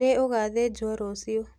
Nĩ ũgathĩjwo rũciũ.